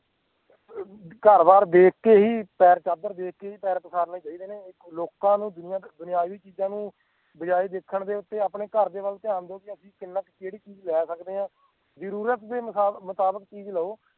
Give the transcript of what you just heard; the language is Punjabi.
ਘਰ ਬਾਰ ਦੇਖ ਕੇ ਹੀ ਪੈਰ ਚਾਦਰ ਦੇਖ ਕੇ ਹੀ ਪੈਰ ਪਸਾਰਨੇ ਚਾਹੀਦੇ ਨੇ ਇੱਕ ਲੋਕਾਂ ਨੂੰ ਜਿਨ੍ਹਾਂ ਕੁ ਬਣਾਵੀਂ ਚੀਜ਼ਾਂ ਨੂੰ ਬਜਾਏ ਦੇਖਣ ਤੇ ਉੱਤੇ ਆਪਣੇ ਘਰ ਦੇ ਵੱਲ ਧਿਆਨ ਦੇਣ ਕਿ ਅਸੀਂ ਕਿੰਨਾ ਕੁ ਕਿਹੜੀ ਚੀਜ਼ ਲੈ ਸਕਦੇ ਹਾਂ ਜਰੂਰਤ ਦੇ ਮੁਤਾਬਿਕ ਚੀਜ਼ ਲਓ